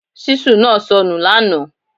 Ṣíṣù naa sọ nu lànà